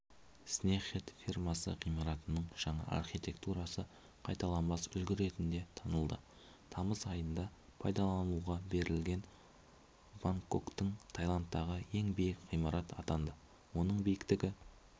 снехет фирмасы ғимаратының жаңа архитектурасы қайталанбас үлгі ретінде танылды тамыз айында пайдалануға берілген бангкоктің тайландтағы ең биік ғимарат атанды оның биіктігі